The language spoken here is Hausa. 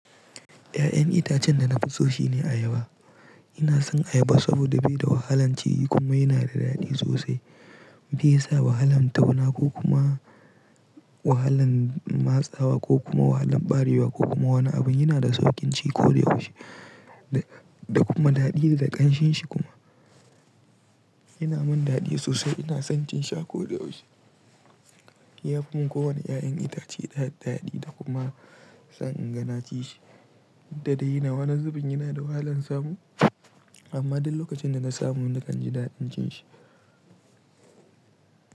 Ƴa'ƴan itacen da na fi so shine ayaba. Ina son ayaba saboda bai da wahalan ci kuma yana da daɗi sosai. Be sa wahalan tauna ko kuma wahalan matsawa ko kuma wahalan ɓarewa ko kuma wani abu. Yana da sauƙin ci ko da yaushe da kuma daɗi da ƙanshinshi kuma. Yana min daɗi sosai. Ina son cin shi akoda yaushe. Ya fi mun ko wane ƴa'ƴan itace daɗi da kuma sa inga naci shi. Dukda dai ina wanan zubin yana da wahalan samu amma duk lokacin da na samu nakan ji daɗin cin shi.